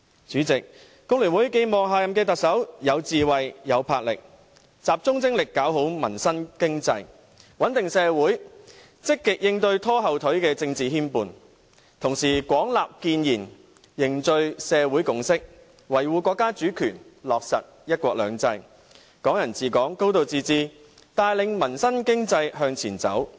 主席，工聯會寄望下任特首有智慧、有魄力，能夠集中精力完善民生經濟，穩定社會，積極應對拖後腿的政治牽絆，同時廣納建言，凝聚社會共識，維護國家主權，落實"一國兩制"、"港人治港"、"高度自治"，帶領民生經濟向前走。